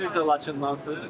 Siz də Laçındansız?